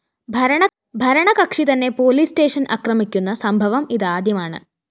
ഭരണകക്ഷി തന്നെ പോലീസ്‌സ്റ്റേഷന്‍ അക്രമിക്കുന്ന സംഭവം ഇതാദ്യമാണ്